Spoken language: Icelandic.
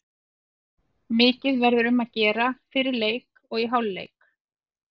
Mikið verður um að gera fyrir leik og í hálfleik.